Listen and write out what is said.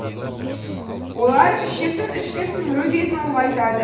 олар ішектің ішкі сіңіру бетін үлғайтады